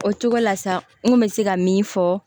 O cogo la sa n kun bɛ se ka min fɔ